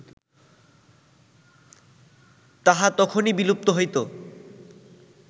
তাহা তখনই বিলুপ্ত হইত